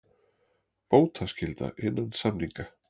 Bótaskylda innan samninga.